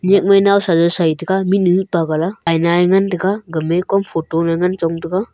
nyakmai nawsa jaw saitaga mihnu mihpa gala aina ye nagan taga gama kom photo ye ngan chong taga.